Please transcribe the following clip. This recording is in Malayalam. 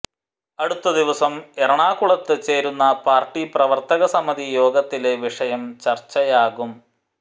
അടുത്ത ദിവസം എറണാകുളത്ത് ചേരുന്ന പാര്ട്ടി പ്രവര്ത്തക സമിതി യോഗത്തില് വിഷയം ചര്ച്ചയാകും